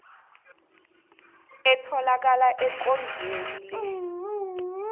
etholakala ekondlweni le